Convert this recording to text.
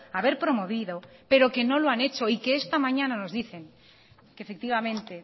haber promovido pero que no la han hecho y que esta mañana nos dicen que efectivamente